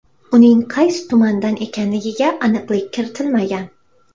Uning qaysi tumandan ekanligiga aniqlik kiritilmagan.